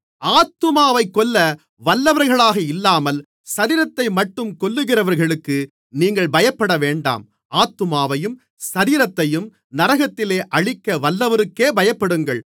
ஆத்துமாவைக் கொல்ல வல்லவர்களாக இல்லாமல் சரீரத்தைமட்டும் கொல்லுகிறவர்களுக்கு நீங்கள் பயப்படவேண்டாம் ஆத்துமாவையும் சரீரத்தையும் நரகத்திலே அழிக்க வல்லவருக்கே பயப்படுங்கள்